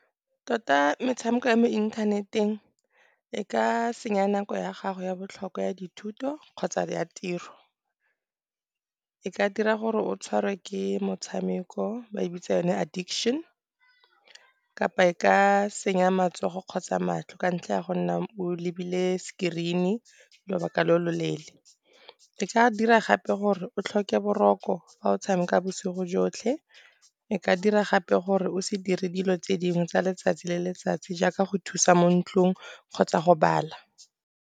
Tota metshameko ya mo inthaneteng e ka senya nako ya gago ya botlhokwa ya dithuto kgotsa ya tiro. E ka dira gore o tshwarwe ke motshameko ba e bitsa yone addiction kapa e ka senya matsogo kgotsa matlho ka ntlha ya go nna o lebile screen-e lobaka lo lo leele. E ka dira gape gore o tlhoke boroko fa o tshameka bosigo jotlhe, e ka dira gape gore o se dire dilo tse dingwe tsa letsatsi le letsatsi, jaaka go thusa mo ntlong kgotsa go bala.